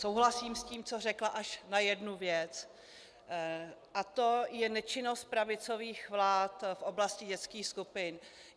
Souhlasím s tím, co řekla, až na jednu věc, a to je nečinnost pravicových vlád v oblasti dětských skupin.